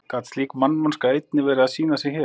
Gat slík mannvonska einnig verið að sýna sig hér?